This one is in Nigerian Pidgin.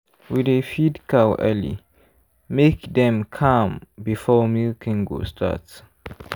we dey feed cow early make dem calm before milking go start.